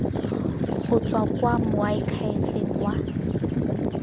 go tswa kwa moakhaefeng wa